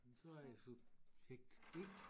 Så er jeg subjekt B